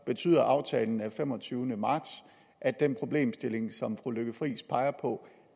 betyder aftalen af femogtyvende marts at den problemstilling som fru lykke friis peger på